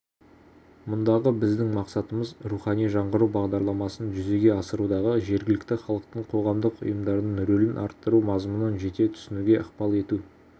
мұндағы біздің мақсатымыз рухани жаңғыру бағдарламасын жүзеге асырудағы жергілікті халықтың қоғамдық ұйымдардың рөлін арттыру мазмұнын жете түсінуге ықпал ету